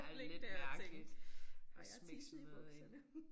Ligge dér og tænke har jeg tisset i bukserne